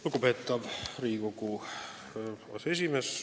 Lugupeetav Riigikogu aseesimees!